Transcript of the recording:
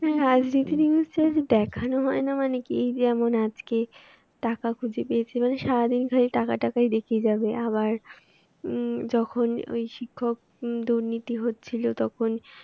হ্যাঁ হ্যাঁ আজকে একটা news channel এ দেখানো হয় না মানে কি যেমন আজকে টাকা খুঁজে পেয়েছে মানে সারাদিন ধরে টাকা টাকা দেখিয়ে যাবে আবার উম যখন ঐ শিক্ষক দুর্নীতি হচ্ছিল তখন